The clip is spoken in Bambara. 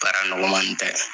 Baara nɔgɔman tɛ.